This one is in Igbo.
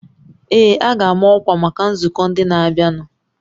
Ee, a ga-ama ọkwa maka nzukọ ndị na-abịanụ